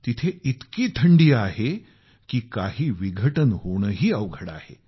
तिथं इतकी थंडी आहे की काही विघटन होणंही अवघड आहे